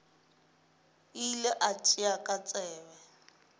ile a tšea ka tsebe